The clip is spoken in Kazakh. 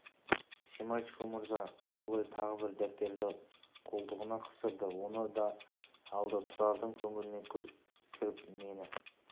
семашко мырза жолай тағы бір дәптерді қолтығына қыстырды оны да алды тұрардың көңіліне күдік кіріп мені